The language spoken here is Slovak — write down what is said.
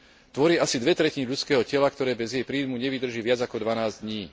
Tvorí asi dve tretiny ľudského tela, ktoré bez jej príjmu nevydrží viac ako dvanásť dní.